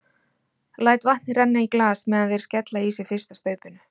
Læt vatn renna í glas meðan þeir skella í sig fyrsta staupinu.